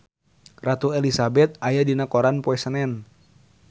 Ratu Elizabeth aya dina koran poe Senen